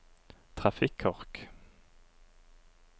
trafikkork